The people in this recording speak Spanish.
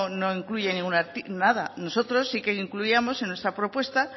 no incluye ningún nada nosotros sí que incluíamos en nuestra propuesta